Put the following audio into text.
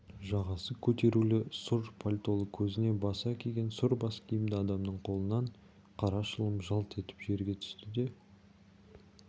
жағасы көтерулі сұр пальтолы көзіне баса киген сұр баскиімді адамның қолынан қара шылым жалп етіп жерге түсті де